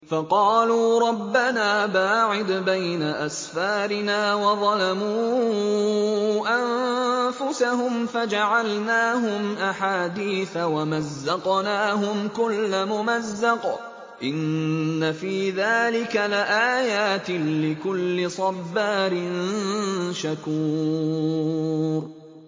فَقَالُوا رَبَّنَا بَاعِدْ بَيْنَ أَسْفَارِنَا وَظَلَمُوا أَنفُسَهُمْ فَجَعَلْنَاهُمْ أَحَادِيثَ وَمَزَّقْنَاهُمْ كُلَّ مُمَزَّقٍ ۚ إِنَّ فِي ذَٰلِكَ لَآيَاتٍ لِّكُلِّ صَبَّارٍ شَكُورٍ